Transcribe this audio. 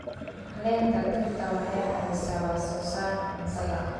Caleenta dhirta waxay caawisaa wax soo saarka cuntada.